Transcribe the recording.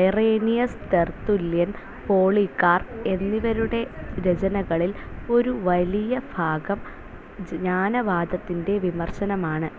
Irenaeus, Tertullian, Polycarp എന്നിവരുടെ രചനകളിൽ ഒരു വലിയ ഭാഗം, ജ്ഞാനവാദത്തിന്റെ വിമർശനമാണ്.